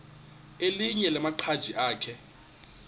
elinye lamaqhaji akhe